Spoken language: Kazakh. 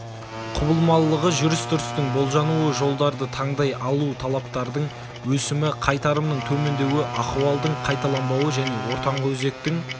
құбылмалылығы жүріс-тұрыстың болжануы жолдарды таңдай алу талаптардың өсімі қайтарымның төмендеуі ахуалдың қайталанбауы және ортаңғы өзектің